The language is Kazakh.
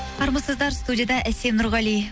армысыздар студияда әсем нұрғали